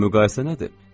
Bu müqayisə nədir?